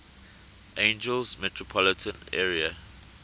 angeles metropolitan area